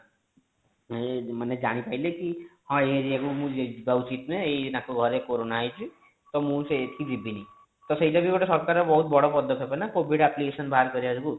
ମାନେ ମାନେ ଜାଣି ପାରିଲେ କି ହଁ area କୁ ମୁଁ ଦୋଉଛି ତାଙ୍କ ଘର କୋରୋନା ହେଇଛି ତ ମୁଁ ସେଇଠି କି ଯିବିନି ତ ସେଇଟା ବି ଗୋଟେ ସରକାର ବି ବହୁତ ବଡ ପଦକ୍ଷପ ନା covid appication ବାହାର କରିବା ଯୋଗୁ